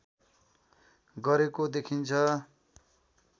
गरेको देखिन्छ